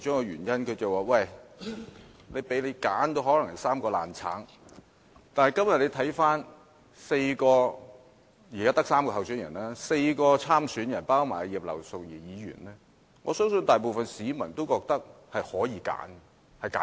然而，今天大家看看現時的3位候選人，或之前的4位參選人，包括葉劉淑儀議員在內，我相信大部分市民也覺得是有選擇的。